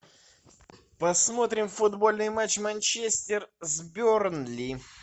посмотрим футбольный матч манчестер с бернли